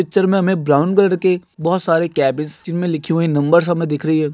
Picture मे हमे brown colour के बहुत सारे केबिस जिन मे लिखे नम्बर्स हमे दिख रही है।